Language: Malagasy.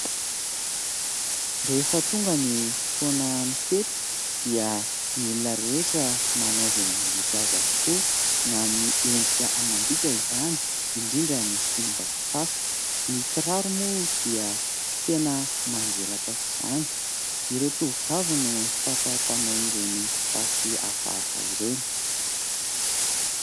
Rehefa tonga ny fotoanan'ny fety dia ny olona rehetra manao izay mahamety azy avokoa, na amin'ny endrika amam-bika izany, indrindra ny fomba fitafy. Ny kiraro moa dia tena manjelatra aok'izany. Ireo tovovavy no fatra-panao ireny fitafy hafahafa ireny.